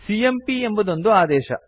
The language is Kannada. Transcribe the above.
ಸಿಎಂಪಿ ಎಂಬುದೊಂದು ಆದೇಶ